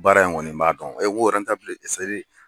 Baara in kɔni n b'a dɔn